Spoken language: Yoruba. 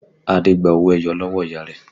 Adé gba owó ẹyọ lọ́wọ́ ìyá rẹ̀